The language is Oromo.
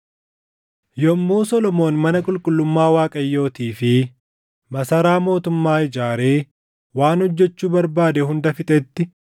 Yommuu Solomoon mana qulqullummaa Waaqayyootii fi masaraa mootummaa ijaaree waan hojjechuu barbaade hunda fixetti,